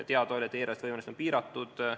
Teada oli, et eelarvelised võimalused on piiratud.